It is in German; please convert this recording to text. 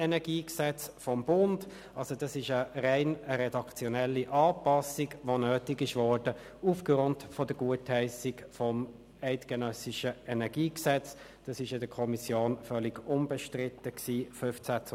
Zuerst gebe ich Grossrat Kropf das Wort, damit er über das ganze Gesetz in zweiter Lesung sprechen kann.